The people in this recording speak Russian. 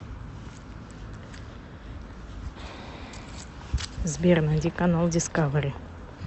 сбер найди канал дискавери